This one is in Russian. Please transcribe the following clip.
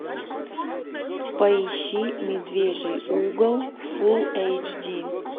поищи медвежий угол фулл эйч ди